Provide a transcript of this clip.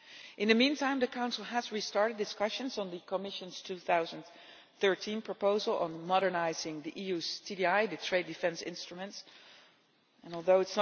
In the meantime, the Council has restarted discussions on the Commission's 2013 proposal on modernising the EU's trade defence instruments Although